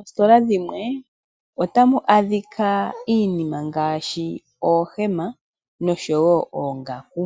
Moositola dhimwe ota mu adhika iinima ngaashi oohema noshowo oongaku,